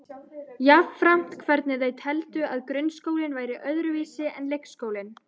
Jafnframt hvernig þau teldu að grunnskólinn væri öðruvísi en leikskólinn.